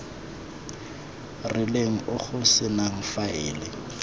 rileng o go senang faele